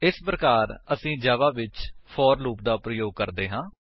ਇਸ ਪ੍ਰਕਾਰ ਅਸੀ ਜਾਵਾ ਵਿੱਚ ਫੋਰ ਲੂਪ ਦਾ ਪ੍ਰਯੋਗ ਕਰਦੇ ਹਾਂ